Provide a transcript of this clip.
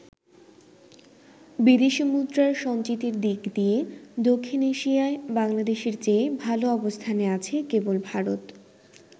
বিদেশি মুদ্রার সঞ্চিতির দিক দিয়ে দক্ষিণ এশিয়ায় বাংলাদেশের চেয়ে ভাল অবস্থানে আছে কেবল ভারত।